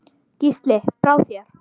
Gísli: Brá þér?